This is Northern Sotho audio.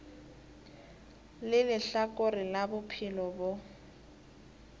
le lehlakore la bophelo bjo